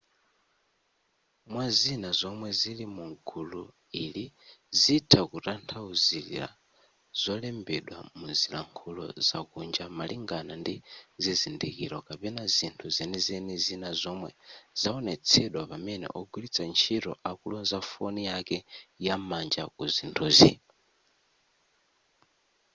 mwazina zomwe zili mugulu ili zitha kutanthauzira zolembedwa muzilankhulo zakunja malingana ndi zizindikiro kapena zinthu zenizeni zina zomwe zaonetsedwa pamene ogwiritsa ntchito akuloza foni yake yam'manja ku zinthuzi